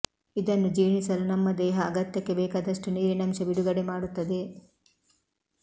ಇದನ್ನು ಜೀರ್ಣಿಸಲು ನಮ್ಮ ದೇಹ ಅಗತ್ಯಕ್ಕೆ ಬೇಕಾದಷ್ಟು ನೀರಿನಂಶ ಬಿಡುಗಡೆ ಮಾಡುತ್ತದೆ